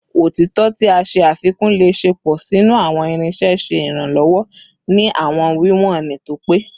Otitọ ti a ṣe afikun le ṣepọ sinu awọn irinṣẹ, ṣe iranlọwọ ni awọn wiwọn to pe